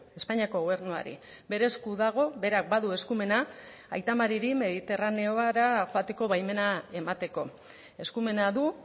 espainiako gobernuari bere esku dago berak badu eskumena aita mariri mediterraneora joateko baimena emateko eskumena du